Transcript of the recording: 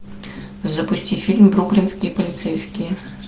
запусти фильм бруклинские полицейские